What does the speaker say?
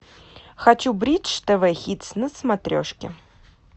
хочу бридж тв хитс на смотрешке